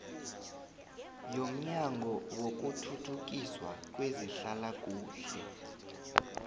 yomnyango wokuthuthukiswa kwezehlalakuhle